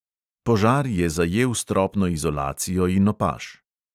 Požar je zajel stropno izolacijo in opaž.